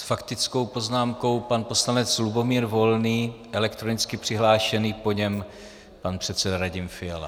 S faktickou poznámkou pan poslanec Lubomír Volný, elektronicky přihlášený, po něm pan předseda Radim Fiala.